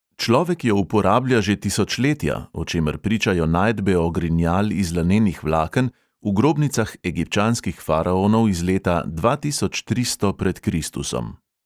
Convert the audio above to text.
Človek jo uporablja že tisočletja, o čemer pričajo najdbe ogrinjal iz lanenih vlaken v grobnicah egipčanskih faraonov iz leta dva tisoč tristo pred kristusom.